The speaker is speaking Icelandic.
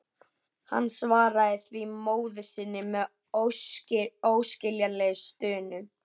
Hann svaraði því móður sinni með óskiljanlegri stunu.